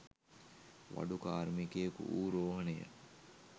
වඩු කාර්මිකයෙකු වූ රෝහණය.